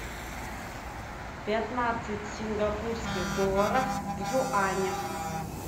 пятнадцать сингапурских долларах в юанях